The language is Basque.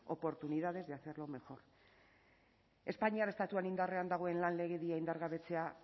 oportunidades de hacerlo mejor espainiar estatuan indarrean dagoen lan legedia indargabetzea